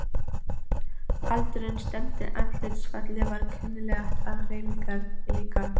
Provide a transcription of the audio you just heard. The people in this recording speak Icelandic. Aldurinn stemmdi, andlitsfallið var kunnuglegt og hreyfingarnar líka.